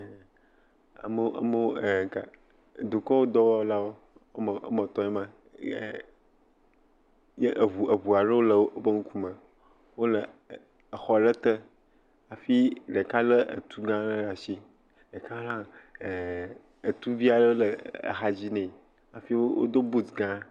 Ame amewo eka, dukɔ dɔwɔla woame etɔ̃ aɖewo ma, ye eŋu eŋu aɖewo le wobe ŋkume. Wole exɔ aɖe te hafi ɖeka lé etu le asi, etu vi aɖe le axadzi nɛ hafi wodo but gã.